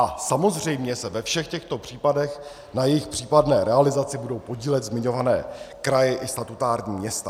A samozřejmě se ve všech těchto případech na jejich případné realizaci budou podílet zmiňované kraje i statutární města.